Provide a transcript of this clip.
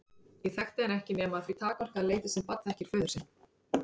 Ég þekkti hann ekki ekki nema að því takmarkaða leyti sem barn þekkir föður sinn.